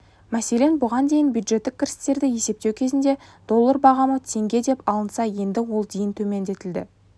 мәселен бұған дейін бюджеттік кірістерді есептеу кезінде доллар бағамы теңге деп алынса енді ол дейін төмендетілді